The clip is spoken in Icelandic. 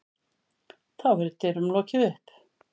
Þá er dyrum lokið upp.